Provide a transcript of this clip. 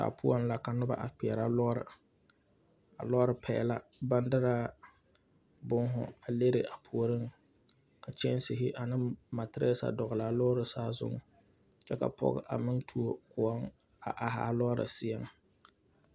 Daa poɔŋ la ka noba a kpeɛrɛ lɔɔre a lɔɔre paɛ la baŋ derɛ bonhu a lere a puoriŋ ka kyɛnsehi ane materɛse a dɔgle a lɔɔre saazuŋ kyɛ ka pɔge a meŋ tuo koɔ a ahi a lɔɔre seɛŋ.